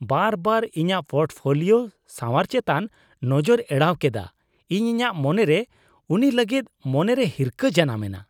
ᱵᱟᱨᱵᱟᱨ ᱤᱧᱟᱹᱜ ᱯᱳᱨᱴᱯᱷᱳᱞᱤᱳ ᱥᱟᱶᱟᱨ ᱪᱮᱛᱟᱱ ᱱᱚᱡᱚᱨᱮ ᱮᱲᱟᱣ ᱠᱮᱫᱟ, ᱩᱱ ᱤᱧᱟᱹᱜ ᱢᱚᱱᱮᱨᱮ ᱩᱱᱤ ᱞᱟᱹᱜᱤᱫ ᱢᱚᱱᱮᱨᱮ ᱦᱤᱨᱠᱷᱟᱹ ᱡᱟᱱᱟᱢᱮᱱᱟ ᱾